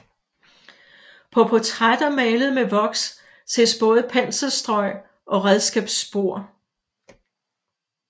På portrætter malet med voks ses både penselstrøg og redskabsspor